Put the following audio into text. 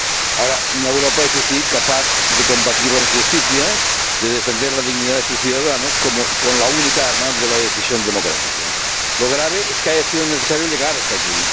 Ahora, una Europa, eso sí, capaz de combatir la injusticia, de defender la dignidad de sus ciudadanos con la única arma de la decisión democrática. Lo grave es que haya sido necesario llegar hasta aquí.